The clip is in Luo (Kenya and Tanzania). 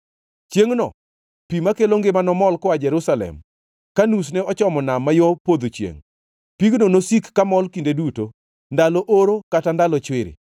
Chiengʼno pi makelo ngima nomol koa Jerusalem, ka nusne ochomo nam ma yo podho chiengʼ. Pigno nosik kamol kinde duto, ndalo oro kata ndalo chwiri.